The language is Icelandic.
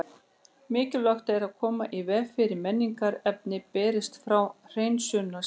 Mikilvægt er að koma í veg fyrir að mengunarefni berist frá hreinsunarstaðnum.